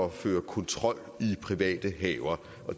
at føre kontrol i private haver